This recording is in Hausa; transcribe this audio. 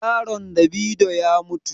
Yaron davido ya mutu.